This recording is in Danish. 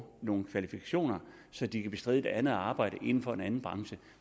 nogle kvalifikationer så de kan bestride et andet arbejde inden for en anden branche